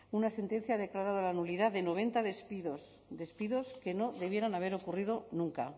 una sentencia declaró la nulidad de noventa despidos despidos que no debieran haber ocurrido nunca